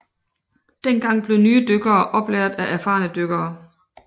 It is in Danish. Dengang blev nye dykkere oplært af erfarne dykkere